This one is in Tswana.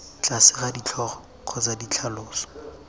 tlase ga ditlhogo kgotsa ditlhaloso